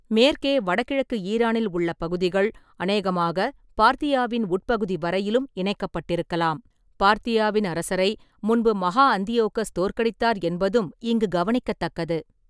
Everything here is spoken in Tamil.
மேற்கே வடகிழக்கு ஈரானில் உள்ள பகுதிகள் அநேகமாகப் பார்த்தியாவின் உட்பகுதி வரையிலும் இணைக்கப்பட்டிருக்கலாம், பார்த்தியாவின் அரசரை முன்பு மஹா அந்தியோகஸ் தோற்கடித்தார் என்பதும் இங்கு கவனிக்கத்தக்கது.